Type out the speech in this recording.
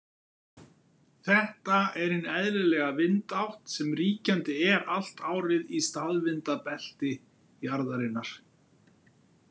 Þetta er hin eðlilega vindátt sem ríkjandi er allt árið í staðvindabelti jarðarinnar.